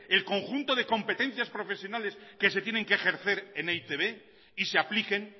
el conjunto de competencias profesionales que se tienen que ejercer en e i te be y se apliquen